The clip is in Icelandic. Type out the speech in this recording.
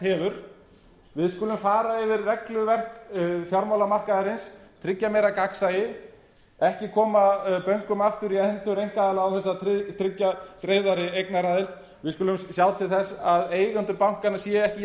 hefur við skulum fara yfir regluverk fjármálamarkaðarins tryggja meira gagnsæi ekki koma bönkunum aftur í hendur einkaaðila án þess að tryggja greiðari eignaraðild við skulum sjá til þess að eigendur bankanna séu ekki í jafn